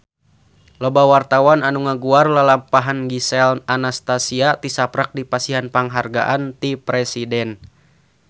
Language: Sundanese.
Loba wartawan anu ngaguar lalampahan Gisel Anastasia tisaprak dipasihan panghargaan ti Presiden